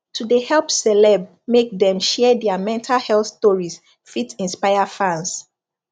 to de help celeb make dem share their mental health stories fit inspire fans